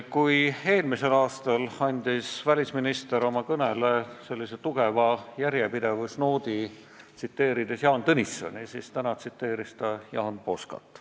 Kui eelmisel aastal andis välisminister oma kõnele tugeva järjepidevusnoodi, tsiteerides Jaan Tõnissoni, siis täna tsiteeris ta Jaan Poskat.